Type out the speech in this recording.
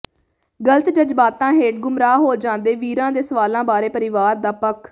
ਗਲਤ ਜ਼ਜਬਾਤਾਂ ਹੇਠ ਗੁੰਮਰਾਹ ਹੋ ਜਾਂਦੇ ਵੀਰਾਂ ਦੇ ਸਵਾਲਾਂ ਬਾਰੇ ਪਰਿਵਾਰ ਦਾ ਪੱਖ